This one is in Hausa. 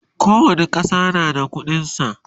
kowani ƙasa na da ƙuɗin sa